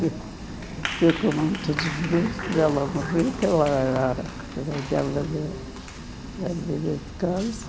Fiquei com muito desgosto dela morrer, porque ela era a que cuidava da da vida de casa.